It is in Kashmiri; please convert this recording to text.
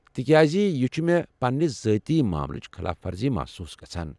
تہ کیازِ یہِ چھُ مے٘ پننہِ ذٲتی ماملٕچہِ خلاف ورزی محصوص گژھان ۔